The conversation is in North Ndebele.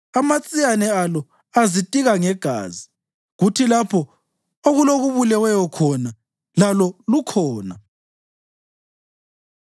Amatsiyane alo azitika ngegazi, kuthi lapho okulokubuleweyo khona lalo lukhona.”